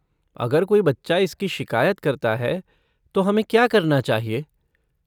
अगर कोई बच्चा इसकी शिकायत करता है तो हमें क्या करना चाहिए?